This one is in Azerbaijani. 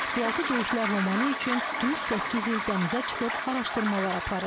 Sualtı döyüşlər romanı üçün düz səkkiz il dənizə çıxıb araşdırmalar aparıb.